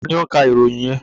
Ta ni ó ń ka ìròyìn yẹn?